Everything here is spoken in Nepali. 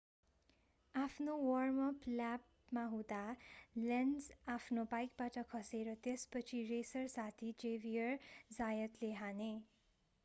आफ्नो वार्म-अप ल्यापमा हुँदा लेन्ज आफ्नो बाइकबाट खसे र त्यसपछि रेसर साथी जेभियर जायतले हाने